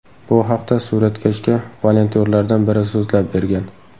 Bu haqda suratkashga volontyorlardan biri so‘zlab bergan.